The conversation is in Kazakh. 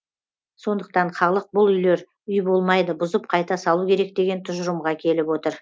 сондықтан халық бұл үйлер үй болмайды бұзып қайта салу керек деген тұжырымға келіп отыр